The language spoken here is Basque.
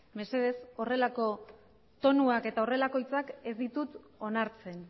mesedez horrelako tonuak eta horrelako hitzak ez ditut onartzen